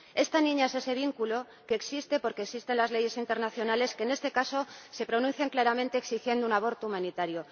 Esta niña es ese vínculo que existe porque existen las leyes internacionales que, en este caso, se pronuncian claramente exigiendo un aborto humanitario.